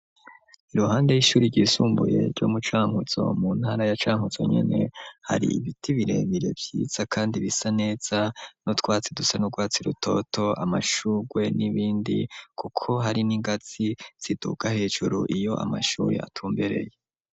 Iruhande y'ishure ryisumbuye ryo mu Cankuzo, mu ntara ya Cankuzo nyene, hari ibiti birebire vyiza kandi bisa neza n'utwatsi dusa n'urwatsi rutoto, amashugwe n'ibindi kuko hari n'ingazi ziduga hejuru iyo amashure atumbereye.